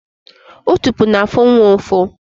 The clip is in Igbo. Otopo na-afu nwa ufu